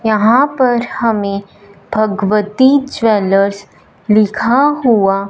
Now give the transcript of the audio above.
यहां पर हमें भगवती ज्वेलर्स लिखा हुआ--